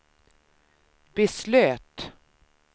beslöt